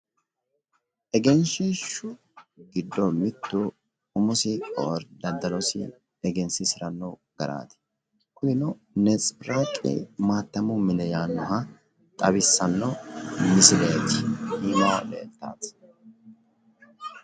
Egenshiishshu giddo mittu umosi daddalosi egensiisiranno garaati. Kunino netsebiraaqi maattamu mine yaannoha xawissanno misileeti minu aana leeltawooti.